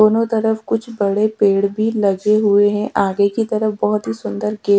दोनों तरफ कुछ बड़े पेड़ भी लगे हुए है आगे की तरफ बहोत ही सुंदर गे--